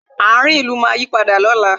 Ààrin ìlú máa yí padà lóla